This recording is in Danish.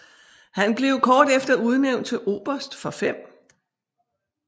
Han blev kort efter udnævnt til oberst for 5